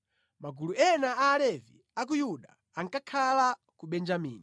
Magulu ena a Alevi a ku Yuda ankakhala ku Benjamini.